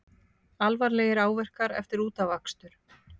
Alvarlegir áverkar eftir útafakstur